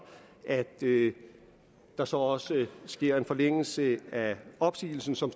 at der så også sker en forlængelse af opsigelsen som